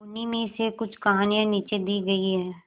उन्हीं में से कुछ कहानियां नीचे दी गई है